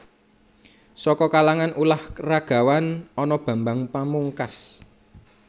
Saka kalangan ulah ragawan ana Bambang Pamungkas